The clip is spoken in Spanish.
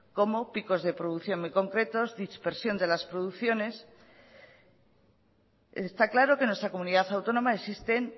como picos de producción muy concretos dispersión de las producciones está claro que en nuestra comunidad autónoma existen